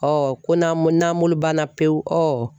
Ɔ ko n'an ko n'an bolo banna pewu ɔ